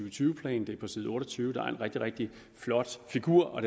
og tyve plan på side otte og tyve er der en rigtig rigtig flot figur